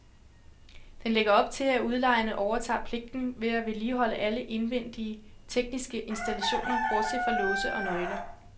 Den lægger op til, at udlejerne overtager pligten til at vedligeholde alle indvendige, tekniske installationer bortset fra låse og nøgler.